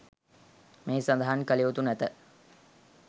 මෙහි සඳහන් කල යුතු නැත